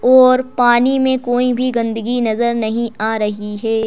और पानी में कोई भी गंदगी नजर नहीं आ रही है।